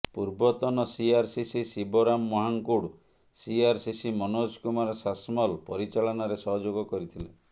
ପୂର୍ବତନ CRCC Shivaram Mahankud CRCC Manoj Kumar Sasmal ପରିଚାଳନାରେ ସହଯୋଗ କରିଥିଲେ